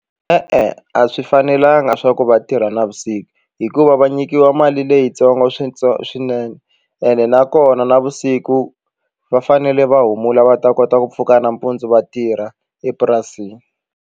E-e, a swi fanelanga swa ku va tirha navusiku hikuva va nyikiwa mali leyitsongo swinene ene nakona navusiku va fanele va humula va ta kota ku pfuka nampundzu va tirha epurasini.